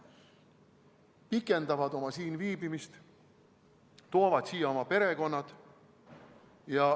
Nad pikendavad oma siinviibimist, toovad siia oma perekonnad.